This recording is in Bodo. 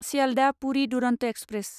सियालदह पुरि दुरन्त एक्सप्रेस